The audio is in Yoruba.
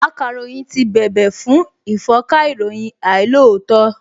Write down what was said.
Akàròyìn ti bèbè fún ìfọ́nka ìròyìn àìlóòótọ́